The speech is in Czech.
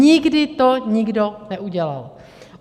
Nikdy to nikdo neudělal.